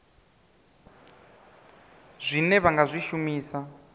zwine vha nga zwi shumisa